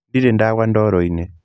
Ndirĩ ndagũa ndoro-inĩ.